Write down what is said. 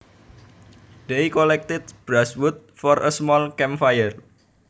They collected brushwood for a small camp fire